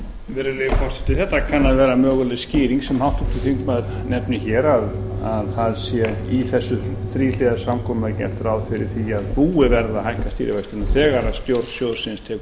virðulegi forseti þetta kann að vera möguleg skýring sem háttvirtur þingmaður nefnir hér að það sé í þessu þríhliða samkomulagi gert ráð fyrir því að búið verði að hækka stýrivextina þegar stjórn sjóðsins tekur